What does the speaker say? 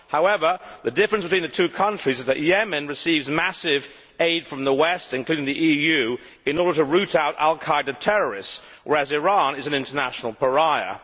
However, the difference between the two countries is that Yemen receives massive aid from the West, including the EU, in order to root out al Qaeda terrorists, whereas Iran is an international pariah.